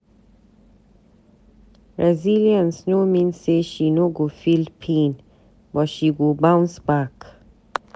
Resilience no mean say she no go feel pain, but she go bounce back.